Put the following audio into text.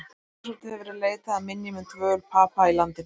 Talsvert hefur verið leitað að minjum um dvöl Papa í landinu.